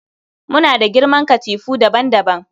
Muna da girman katifu daban-daban